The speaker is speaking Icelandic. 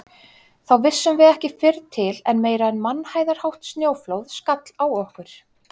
Þá vissum við ekki fyrr til en meira en mannhæðarhátt snjóflóð skall á okkur.